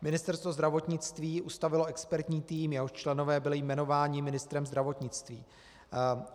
Ministerstvo zdravotnictví ustavilo expertní tým, jehož členové byli jmenováni ministrem zdravotnictví.